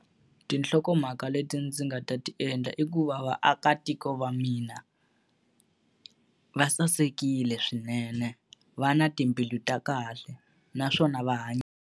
Tinhlokomhaka leti ndzi nga ta ti endla i ku va vaakatiko va mina, va sasekile swinene, va na timbilu ta kahle naswona va .